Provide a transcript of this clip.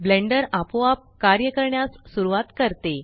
blender आपोआप कार्य करण्यास सुरवात करते